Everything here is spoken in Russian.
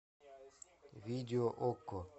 видео окко